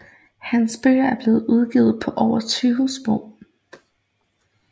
Hans bøger er blevet udgivet på over 20 sprog